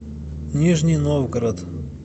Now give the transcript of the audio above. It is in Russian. нижний новгород